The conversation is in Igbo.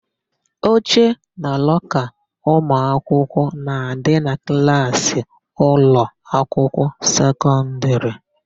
Oche na lọka ụmụakwụkwọ na-adị na klaasị ụlọakwụkwọ sekọndịrị.